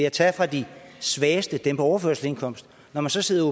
at tage fra de svageste altså dem på overførselsindkomst og når man så sidder